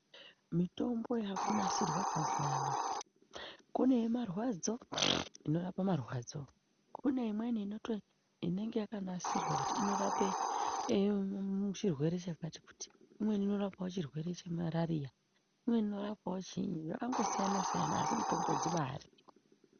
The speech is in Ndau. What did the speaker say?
Mitombo yaakunasirwa mazuwa anoaya kune yemarwadzo, inorape marwadzo, kune imweni inenge yakanasirwa kuti inorape chirwere chakati kuti, imweni inorapawo chirwere chemarariya, imweni inorapawo chiinyi zvakangosiyanasiyana, asi mitombo dzibaariyo.